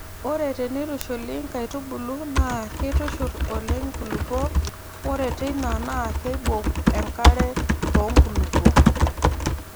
Ore teneitushuli nkaitubulu naa keitushurr oleng nkulupuok ore teina naa keibok enkare too nkulupuok.